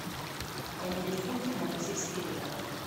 поменять фунты на бразильские реалы